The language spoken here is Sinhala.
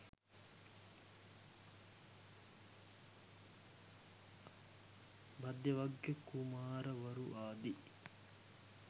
භද්දවග්ගිය කුමාරවරු ආදි